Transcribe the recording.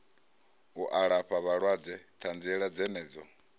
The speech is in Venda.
u alafha vhalwadze ṱanziela dzenedzo